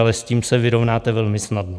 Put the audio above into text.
Ale s tím se vyrovnáte velmi snadno.